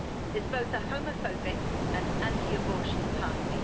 is both a homophobic and anti-abortion party.